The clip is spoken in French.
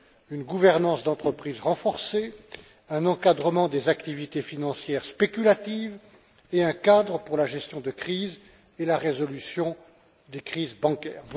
une gouvernance d'entreprise renforcée, un encadrement des activités financières spéculatives et un cadre pour la gestion de crise et la résolution des crises bancaires.